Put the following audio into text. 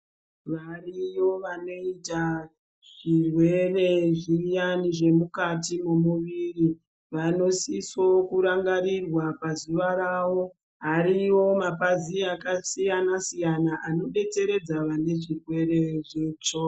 Vari yo vanoita zvirwere zviyani zvemukati mwemwiri. Vanosiso kurangarirwa pazuva ravo. Ariyo mapazi akasiyana siyana anobetseredza vane zvirwere.